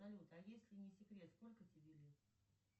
салют а если не секрет сколько тебе лет